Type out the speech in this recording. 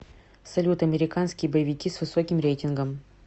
салют американские боевики с высоким реитингом